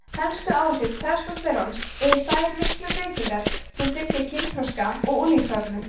helstu áhrif testósteróns eru þær miklu breytingar sem fylgja kynþroska og unglingsárunum